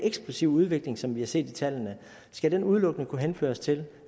eksplosive udvikling som vi har set i tallene skal den udelukkende kunne henføres til